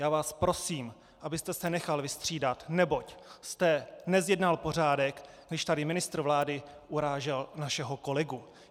Já vás prosím, abyste se nechal vystřídat, neboť jste nezjednal pořádek, když tady ministr vlády urážel našeho kolegu.